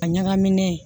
A ɲagaminnen